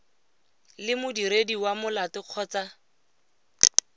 le modiredi wa molato kgotsa